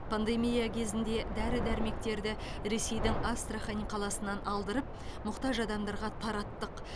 пандемия кезінде дәрі дәрмектерді ресейдің астрахань қаласынан алдырып мұқтаж адамдарға тараттық